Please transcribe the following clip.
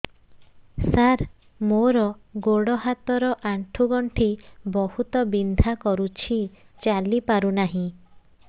ସାର ମୋର ଗୋଡ ହାତ ର ଆଣ୍ଠୁ ଗଣ୍ଠି ବହୁତ ବିନ୍ଧା କରୁଛି ଚାଲି ପାରୁନାହିଁ